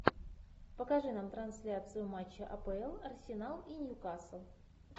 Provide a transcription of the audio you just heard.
покажи нам трансляцию матча апл арсенал и ньюкасл